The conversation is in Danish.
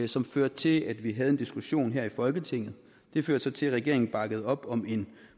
som førte til at vi havde en diskussion her i folketinget det førte så til at regeringen bakkede op om en